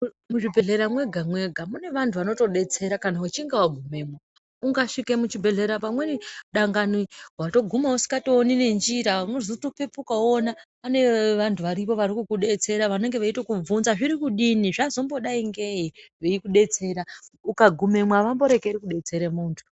Muzvibhedhlera mwega-mwega mune vantu vanotodetsera kana uchinge wagumemo. Ukasvike muchibhedhlera pamweni dangani waguma usikatooni nenjira unotozopepuka woona pane vantu varipo varikukudetsera vanenge veitokubvunza kuti zvirikudini zvazombodai ngei, veikudetsera, ukagumemo avamborekeri kudetsera muntu.